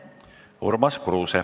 Urmas Kruuse.